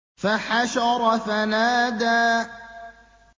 فَحَشَرَ فَنَادَىٰ